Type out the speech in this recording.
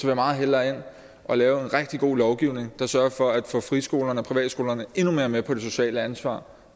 jeg meget hellere ind og lave en rigtig god lovgivning der sørger for at få friskolerne og privatskolerne endnu mere med på det sociale ansvar